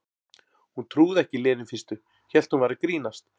Hún trúði ekki Lenu í fyrstu, hélt hún væri að grínast.